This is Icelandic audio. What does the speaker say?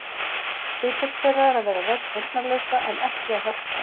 Hlutverk þeirra er að vera rödd heyrnarlausra, en ekki að hjálpa þeim.